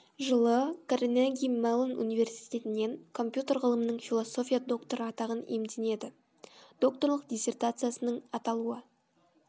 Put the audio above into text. жылы карнеги меллон университетінен компьютер ғылымының философия докторы атағын иемдененді докторлық диссертациясының аталуы